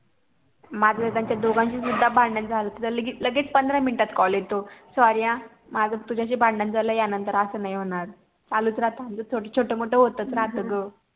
मग एकदा त्या दोघांच सुद्धा भांडण झालत तर लगे लगेच पंधरा मिनिटात CALL येतो SORRY हा माझं तुझ्याशी भांडण झाल या नंतर असं नाही होणार. चालूच राहत आमचं छोट मोठं होतच राहत ग